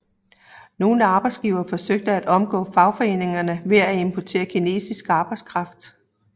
Nogle arbejdsgivere forsøgte at omgå fagforeningerne ved at importere kinesisk arbejdskraft